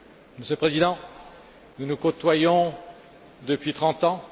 Monsieur le Président, nous nous côtoyons depuis trente ans.